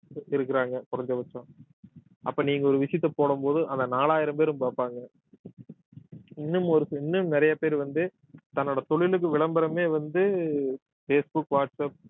இருக்கிறாங்க குறைஞ்சபட்சம் அப்ப நீங்க ஒரு விஷயத்த போடும் போது அந்த நாலாயிரம் பேரும் பார்ப்பாங்க இன்னும் ஒரு இன்னும் நிறைய பேர் வந்து தன்னோட தொழிலுக்கு விளம்பரமே வந்து பேஸ் புக் வாட்ஸ் அப்